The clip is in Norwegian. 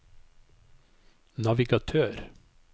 navigatør